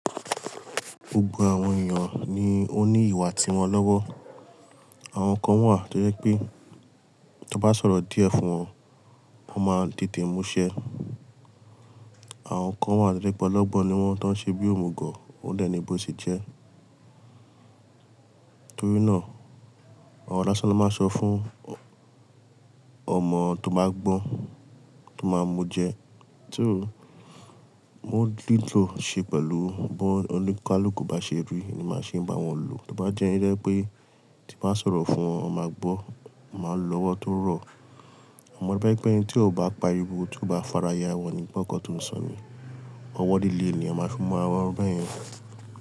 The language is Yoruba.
Gbogbo àwọn èèyàn ni ó ní ìwà tiwọn lọ́wọ́. Àwọn kan wà tí ó jẹ pé tí won bá sọ̀rọ̀ díẹ̀ fún wọn, wọ́n máa tètè múṣẹ́. Àwọn kan wà to je pẹ̀ ọ̀lọ́gbọ́n ni wọ́n tó ń ṣe bí òmùgọ̀, ó dè ni bò se jẹ́. Torí náà, àwọn aláṣọ ló máa ń sọ fún ọmọ tó máa gbọ́n, tó máa mu jẹ ti o mo lílò ṣe pẹ̀lú bó oníkálukú bá ṣe rí ní máa ṣe bá wọn lò. Tí ó bá jẹ́ ire pé tí bá sọ̀rọ̀ fún wọn, wọ́n máa gbọ́, wọ́n máa lọ́wọ́ tó rọ̀. Ọmọ ẹbí ẹ̀gbọ́n tí ó bá pariwo tí ó bá farayà, wọ́n ni gbọ́nkọ́ tó ń sọ ni. Ọwọ́ líle ni a máa fi mú àwọn ọmọ ẹbí yẹn.